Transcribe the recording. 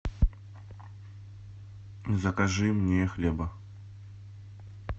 закажи мне хлеба